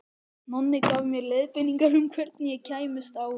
Nonni gaf mér leiðbeiningar um hvernig ég kæmist á